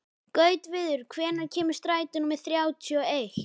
Gautviður, hvenær kemur strætó númer þrjátíu og eitt?